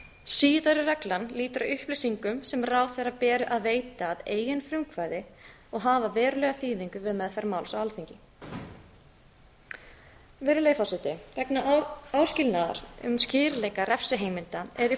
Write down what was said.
síðari reglan lýtur upplýsingum sem ráðherra ber að veita að eigin frumkvæði og hafa verulega þýðingu með meðferð máls á alþingi virðulegi forseti vegna áskilnaðar um skýrleika refsiheimilda er